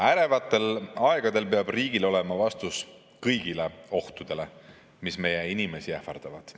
Ärevatel aegadel peab riigil olema vastus kõigile ohtudele, mis meie inimesi ähvardavad.